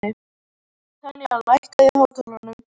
Tanya, lækkaðu í hátalaranum.